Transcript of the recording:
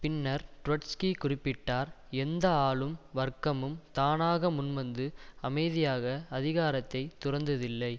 பின்னர் ட்ரொட்ஸ்கி குறிப்பிட்டார் எந்த ஆளும் வர்க்கமும் தானாக முன்வந்து அமைதியாக அதிகாரத்தை துறந்ததில்லை